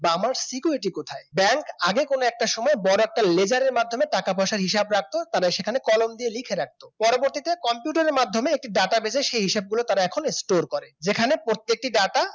আমার সিকিউরিটি কোথায় ব্যাংক আগে কোন একটা সময় বড় একটা laser র মাধ্যমে টাকা-পয়সার হিসাব রাখতো তারা সেখানে কলম দিয়ে লিখে রাখত পরবর্তীতে কম্পিউটারের মাধ্যমে একটি data বের হয় সেই হিসাবগুলি তারা এখন store করে যেখানে প্রত্যেকটি data